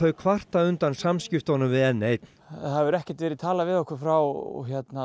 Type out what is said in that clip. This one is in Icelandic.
kvarta undan samskiptunum við n eins það hefur ekkert verið talað við okkur frá